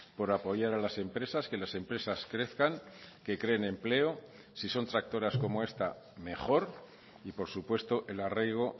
por apoyar a las empresas que las empresas crezcan que creen empleo si son tractoras como esta mejor y por supuesto el arraigo